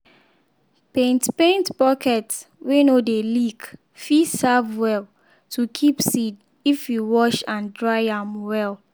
paint paint bucket wey no dey leak fit serve well to keep seed if you wash and dry am well.